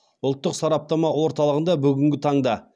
ұлттық сараптама орталығында бүгінгі таңда